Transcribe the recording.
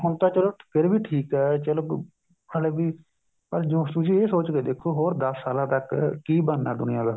ਹੁਣ ਤਾਂ ਚਲੋ ਫ਼ਿਰ ਵੀ ਠੀਕ ਹੈ ਚਲੋ ਹਲੇ ਵੀ ਪਰ ਤੁਸੀਂ ਇਹ ਸੋਚ ਕੇ ਦੇਖੋ ਹੋਰ ਦਸ ਸਾਲਾਂ ਤੱਕ ਕੀ ਬਣਨਾ ਦੁਨੀਆ ਦਾ